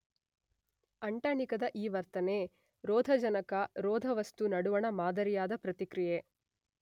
ಅಂಟಣಿಕದ ಈ ವರ್ತನೆ ರೋಧಜನಕ ರೋಧವಸ್ತು ನಡುವಣ ಮಾದರಿಯಾದ ಪ್ರತಿಕ್ರಿಯೆ.